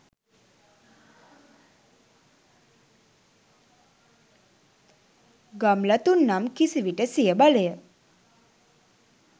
ගම්ලතුන් නම් කිසිවිට සිය බලය